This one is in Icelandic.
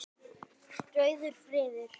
Rauður friður.